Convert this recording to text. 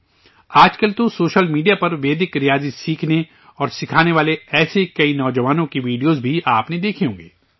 آج کل تو سوشل میڈیا پر ویدک ریاضی سیکھنے اور سکھانے والے ایسے کئی نوجوانوں کے ویڈیو بھی آپ نے دیکھے ہوں گے